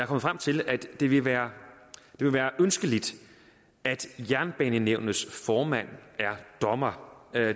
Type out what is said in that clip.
frem til at det vil være ønskeligt at jernbanenævnets formand er dommer